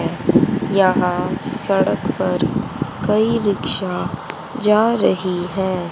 यहां सड़क पर कई रिक्शा जा रही है।